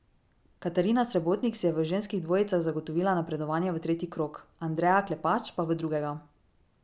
Katarina Srebotnik si je v ženskih dvojicah zagotovila napredovanje v tretji krog, Andreja Klepač pa v drugega.